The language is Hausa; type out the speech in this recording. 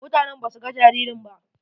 Mutanen ba su ga jaririn ba.